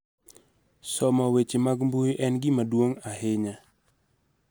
Somo weche mag mbui en gima duong' ahinya